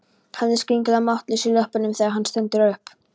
Hann er skringilega máttlaus í löppunum þegar hann stendur upp.